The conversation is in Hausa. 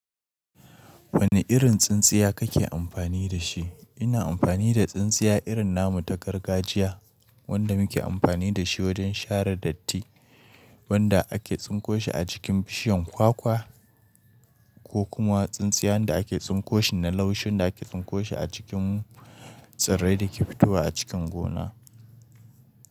Wane irin tsintsiya kake amfani da shi? Ina amfani da tsintsiya irin namu ta gargajiya wanda muke amfani da shi wajen share datti, wanda ake tsinko shi a jikin bishiyar kwakwa, ko kuma tsintsiyan da ake tsinko shi na laushin da ake tsinko shi a cikin tsirrai da ke fitowa a cikin gona.